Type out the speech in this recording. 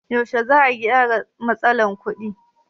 Yaushe ne za'a gyara matsalar kuɗin?